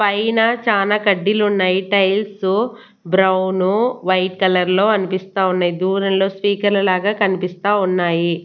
పైన చానా కడ్డీలున్నాయి టైల్సు బ్రౌను వైట్ కలర్లో అన్పిస్తా ఉన్నాయి దూరంలో స్పీకర్ లాగా కన్పిస్తా ఉన్నాయి.